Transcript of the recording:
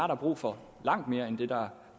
der brug for langt mere end det der